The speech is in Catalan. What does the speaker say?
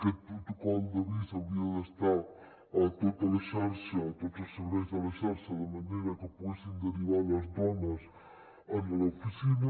aquest protocol d’avís hauria d’estar a tota la xarxa a tots els serveis de la xarxa de manera que poguessin derivar les dones a l’oficina